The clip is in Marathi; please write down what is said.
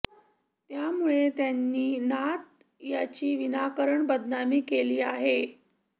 त्यामुळे त्यांनी नाथ यांची विनाकारण बदनामी केली आहे